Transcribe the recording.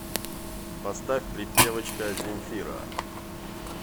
поставь припевочка земфира